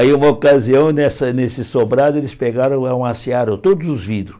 Aí, uma ocasião, nessa nesse sobrado, eles pegaram e amassearam todos os vidros.